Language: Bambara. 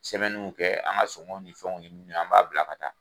Sɛbɛniw kɛ an ka songɔ ni fɛnw ye min ye an b'a bila ka taa.